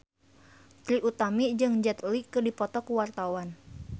Trie Utami jeung Jet Li keur dipoto ku wartawan